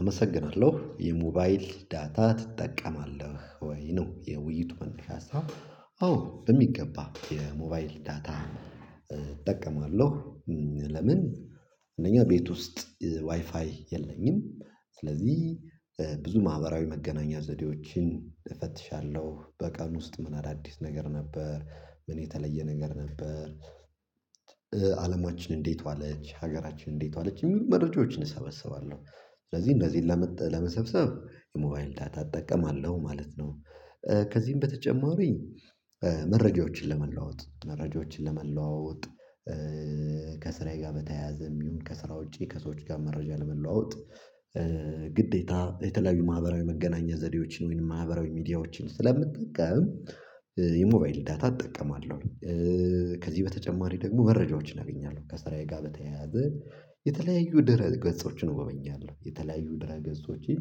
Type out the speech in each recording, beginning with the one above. አመሰግናለሁ የሞባይል ዳታ ትጠቀማለህ ወይ ነው? የውይይቱ መነሻ ሀሳብ። አዎ በሚገባ የሞባይል ዳታ እጠቀማለሁ። ለምን አንደኛ ቤት ውስጥ ዋይፋይ የለኝም። ስለዚህ ብዙ ማህበራዊ መገናኛ ዘዴዎችን እፈትሻለሁ በቀን ውስጥ ምን አዳዲስ ነገር ነበር ምን የተለየ ነገር ነበር? አለማችን እንዴት ዋለች ሀገራችን እንዴት ዋለች እሚሉ መረጃዎችን እሰበስባለሁ። ስለዚህ እንነዚህ ለመጠ ለመሰብሰብ የሞባይል ዳታ እጠቀማለሁ ማለት ነው። ኧ ከዚህም በተጨማሪ ኧ መረጃዎችን ለመለዋወጥ መረጃዎችን ለመለዋወጥ ኧ ከስራዬ ጋር በተያያዘም ይሁን ከስራ ውጪ ከሰዎች ጋር መረጃ ለመለዋወጥ ኧ ግዴታ የተለያዩ ማህበራዊ መገናኛ ዘዴዎችን ወይንም ማህበራዊ ሚዲያዎችን ስለምጠቀም ኧ የሞባይል ዳታ እጠቀማለሁኝ። ኧ ከዚህ በተጨማሪ ደግሞ መረጃዎችን አገኛለሁ ከሰራዬ ጋር በተያያዘ የተለያዩ ድህረ ገጾችን እጎበኛለሁ የተለያዩ ድህረ ገጾችን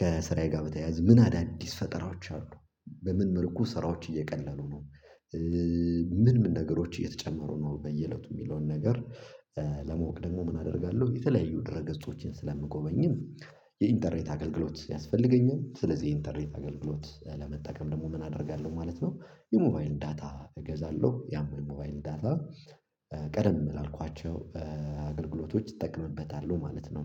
ከስራዬ ጋር በተያያዘ ምን አዳዲስ ፈጠራዎች አሉ። በምን መልኩ ወስራዎች እየቀለሉ ነው አ ምን ምን ነገሮች እየተጨመሩ ነው። በየእለቱ እሚለውን ነገር ለመወቅ ደግሞ ምን አደርጋለሁ የተለያዩ ድህረ ገጾችን ስለምጎበኝም የኢንተርኔት አገልግሎት ያስፈልገኛል። ስለዚህ የኢንተርኔት አገልግሎት ለመጠቀም ደግሞ ምን አደርጋለሁ ማለት ነው። የሞባይል ዳታ እገዛለሁ ያም የሞባይል ዳታ ኧ ቀደም ላልኳቸው አገልግሎቶች ኧ እጠቀምበታሁ ማለት ነው።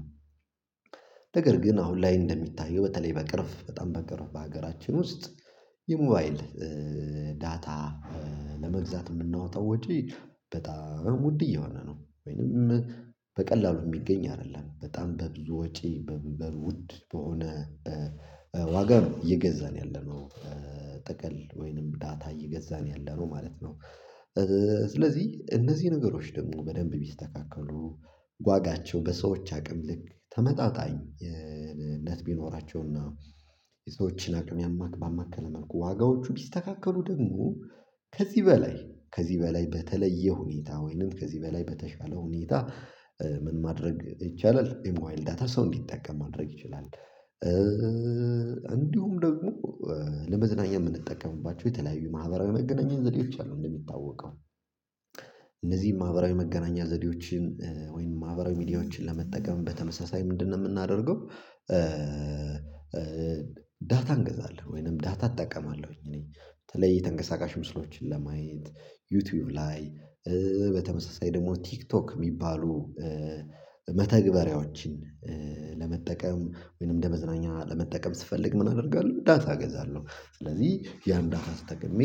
ነገር ግን አሁን ላይ እንደሚታየው በተለይ በቅርፍ በጣም በቅርፍ በሀገራችን ውስጥ የሞባይል ዳታ ለመግዛት እምናወጣው ወጪ በጣም ውድ እየሆነ ነው ወይንም በቀላሉ እሚገኝ አይደለም በጣም በብዙ ወጪ በብ በብ ውድ በሆነ ዋጋር እየገዛን ያለነው ጥቅል ወይንም ዳታ እየገዛን ያለነው ማለት ነው። ስለዚህ እነዚህ ነገሮች ደግሞ በደንብ ቢስተካከሉ ዋጋቸው በሰዎች አቅም ልክ ተመጣጣኝነት ኧ ቢኖራቸውና የሰዎችን አቅም ያማከለ ባማከለ ሠልኩ ዋጋዎቹ መልኩ ዋጋዎቹ ቢስተካከሉ ደግሞ ከዚህ በላይ ከዚህ በላይ በተለየ ሁኔታ ወይንም ከዚህ በላይ በተሻለ ሁኔታ ምን ማድረግ ይቻላል? የሞባይል ዳታ ሰው እንዲጠቀም ማድረግ ይችላል። ኧኧ እንዲሁም ደግሞ ለመዝናኛ እምንጠቀምባቸው የተለያዩ ማህበራዊ መገናኛ ዘዴዎች አሉ እንደሚታወቀው እነዚህን ማህበራዊ መገናኛ ዘዴዎችን ኧ ወይንም ማህበራዊ ሚዲያዎችን ለመጠቀም በተመሳሳይ ምንድን ነው የምናደርገው? ዳታ እንገዛለን ወይንም ዳታ እጠቀማለሁኝ እኔ በተለይ ተንገሳቃሽ ምስሎችን ለማየት ዩቱዩብ ላይ ኧ በተመሳሳይ ደግሞ ቲክቶክ እሚባሉ ኧ መተግበሪያዎችን ኧ ጸሸለመጠቀም ወይንም እንደ መዝናኛ ለመጠቀም ስፈልግ ምን አደርጋለሁ ዳታ እገዛለሁ ስለዚህ ያን ዳታ ተጠቅሜ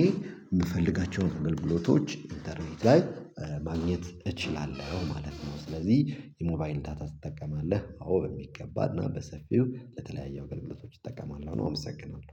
እምፈልጋቸውን እተገልብሎቶች ኢንተርኔት ላይ ኧ ማግኘት እችላለሁ ማለት ነው። ስለዚህ የሞባይን ዳታ ትጠቀማለህ? አዎ በሚገባና በሰፊው ለተለያዩ አገልግሎቶች እጠቀማለሁ ነው። አመሰግናለሁ